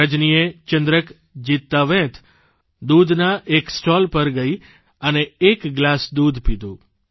રજનીએ ચંદ્રક જીતતાવેંત દૂધના એક સ્ટોલ પર ગઇ અને એક ગ્લાસ દૂધનો પીધો